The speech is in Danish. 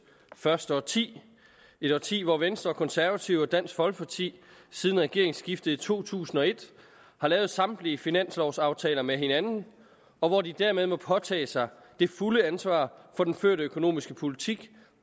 første årti et årti hvor venstre og konservative og dansk folkeparti siden regeringsskiftet i to tusind og et har lavet samtlige finanslovaftaler med hinanden og hvor de dermed må påtage sig det fulde ansvar for den førte økonomiske politik